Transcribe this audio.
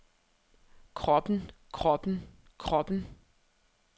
kroppen kroppen kroppen